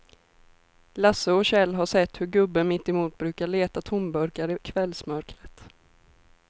Lasse och Kjell har sett hur gubben mittemot brukar leta tomburkar i kvällsmörkret.